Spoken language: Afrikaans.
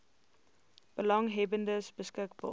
belanghebbendes beskik baar